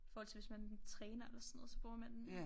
I forhold til hvis man træner eller sådan noget så bruger man den